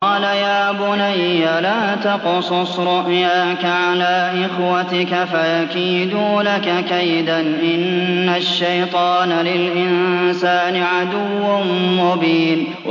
قَالَ يَا بُنَيَّ لَا تَقْصُصْ رُؤْيَاكَ عَلَىٰ إِخْوَتِكَ فَيَكِيدُوا لَكَ كَيْدًا ۖ إِنَّ الشَّيْطَانَ لِلْإِنسَانِ عَدُوٌّ مُّبِينٌ